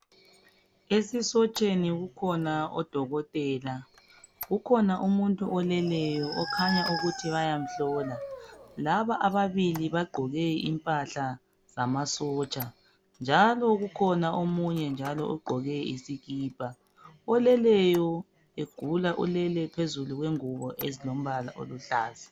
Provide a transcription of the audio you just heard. Esisotsheni kukhona odokotela. Kukhona umuntu oleleyo okhanya ukuthi bayamhlola. Laba ababili bagqoke impahla zamasotsha njalo kukhona omunye njalo ogqoke isikipha. Oleleyo egula ulele phezulu kwengubo ezilombala oluhlaza